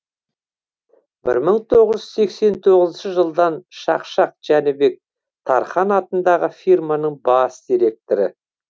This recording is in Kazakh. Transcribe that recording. бір мың тоғыз жүз сексен тоғызыншы жылдан шақшақ жәнібек тархан атындағы фирманың бас директоры